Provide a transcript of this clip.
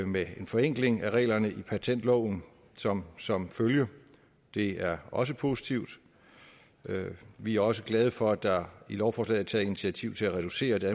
med en forenkling af reglerne i patentloven som som følge det er også positivt vi er også glade for at der i lovforslaget er taget initiativ til at reducere det